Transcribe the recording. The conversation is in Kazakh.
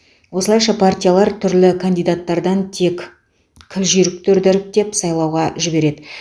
осылайша партиялар түрлі кандидаттардан тек кіл жүйріктерді іріктеп сайлауға жібереді